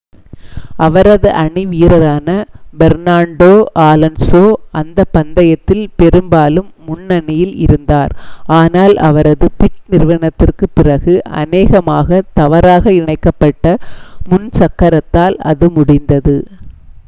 அவரது அணி வீரரான பெர்னாண்டோ ஆலோன்ஸோ அந்தப் பந்தயத்தில் பெரும்பாலும் முன்னணியில் இருந்தார் ஆனால் அவரது பிட்-நிறுத்ததிற்குப் பிறகு அநேகமாக தவறாக இணைக்கப் பட்ட முன் சக்கரத்தால் அது முடிந்தது